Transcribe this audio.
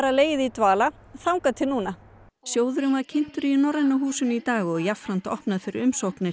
legið í dvala þangað til núna sjóðurinn var kynntur í Norræna húsinu í dag og jafnframt opnað fyrir umsóknir